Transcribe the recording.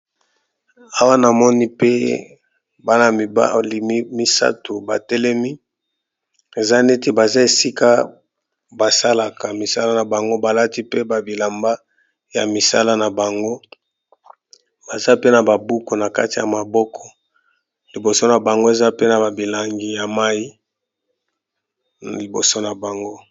Awa na moni pe bana mibali misato batelemi eza neti baza esika basalaka misala na bango balati pe ba bilamba ya misala na bango baza pe na ba buku na kati ya maboko liboso na bango eza pe na ba milangi ya mayi na liboso na bango.